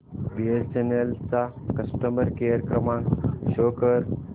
BSNL चा customer care क्रमांक show कर